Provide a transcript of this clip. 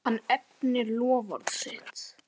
Hann efnir loforð sitt.